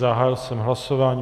Zahájil jsem hlasování.